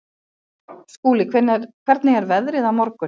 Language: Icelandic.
Skúli, hvernig er veðrið á morgun?